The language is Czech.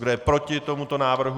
Kdo je proti tomuto návrhu?